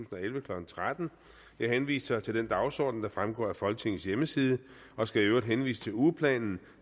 og elleve klokken tretten jeg henviser til den dagsorden der fremgår af folketingets hjemmeside og skal i øvrigt henvise til ugeplanen